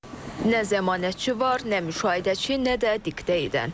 Nə zəmanətçi var, nə müşahidəçi, nə də diktə edən.